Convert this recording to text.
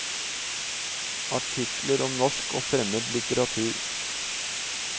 Artikler om norsk og fremmed litteratur.